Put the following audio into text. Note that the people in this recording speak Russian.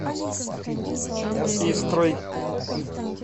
истрой